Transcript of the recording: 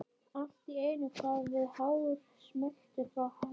Allt í einu kvað við hár smellur frá hlaðinu.